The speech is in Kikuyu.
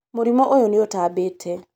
mũrimũ ũyũ nĩũtambĩte